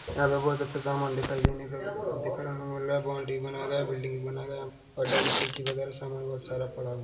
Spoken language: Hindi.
यहाँ पे बहोत अच्छा सामान दिखाई देने का दिखला ओला बॉउंड्री बना गा बिल्डिंग बना गया और कुर्सी वगैरा सामान बहोत सारा पडा।